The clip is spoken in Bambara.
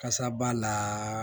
Kasa b'a la